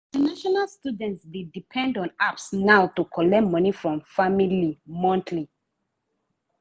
international students dey depend on apps now to collect money from family monthly.